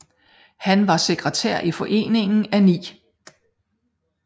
Han var sekretær i Foreningen af 9